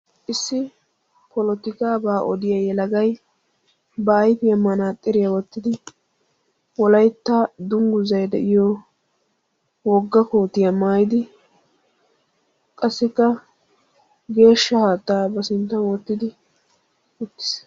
Issi polotikkabba odiya yelagay ba ayfiyan manaxxirriya wottiddi ba sinttan geeshsha haatta wottiddi uttiis.